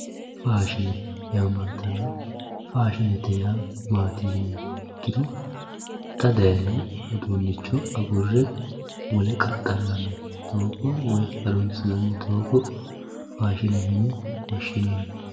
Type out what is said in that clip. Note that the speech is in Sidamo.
Faadhinebyaamantano, faashinete yaa maati yinniha ikkiro xaa fayino uduunicho agure wole qaxxalanni doogo harunsinnanni foogo faashine yine woshinanni